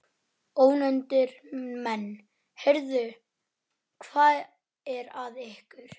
Ónefndir menn: Heyrðu, hvað er að ykkur?